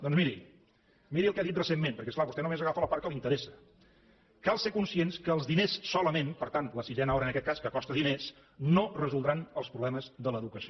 doncs miri miri el que ha dit recentment perquè és clar vostè només agafa la part que li interessa cal ser conscients que els diners solament per tant la sisena hora en aquest cas que costa diners no resoldran els problemes de l’educació